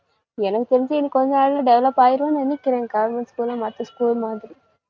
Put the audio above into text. எனக்கு தெரிஞ்சி இன்னும் கொஞ்ச நாள்ல develop ஆயிரும்னு நினைக்கிறேன் government school உ மத்த school மாதிரி